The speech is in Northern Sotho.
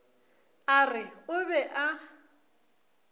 a re o be a